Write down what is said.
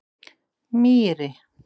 Mýri